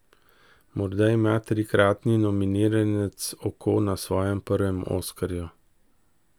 Morda ima trikratni nominiranec oko na svojem prvem oskarju?